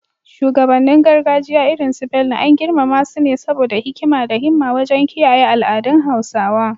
Shugabannin gargajiya irin su Bello, an girmama su ne saboda hikima da himma wajen kiyaye al’adun Hausawa.